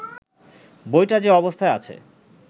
বইটা যে অবস্থায় আছে